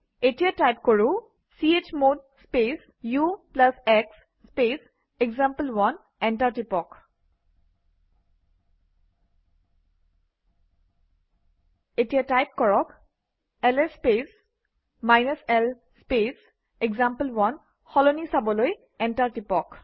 এতিয়া টাইপ কৰোঁ - চমদ space ux space example one enter টিপক এতিয়া টাইপ কৰক - LS space l space example one সলনি চাবলৈ এণ্টাৰ টিপক